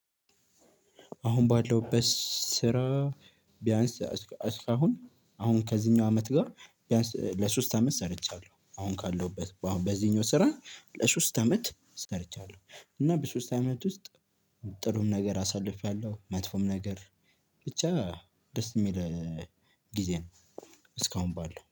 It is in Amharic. አሁን ባለውበት ስራ ቢያንስ እስካሁን አሁን ከዚህኛው አመት ጋር ቢያንስ ለሶስት አመት ሰርቻለሁ አሁን ካለሁበት በዚህኛው ስራ ለሶስት አመት ሰርቻለሁ። እና በሶስት አመት ውስጥ ጥሩም ነገር አሳልፌያለሁ መጥፎም ነገር ብቻ ደስ የሚል ጊዜ ነው። እስካሁን ባለው